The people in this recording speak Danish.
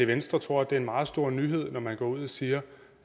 venstre tror at det er en meget stor nyhed at man går ud og siger